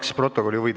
Aitäh, küsija!